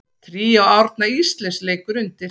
Tríó Árna Ísleifs leikur undir.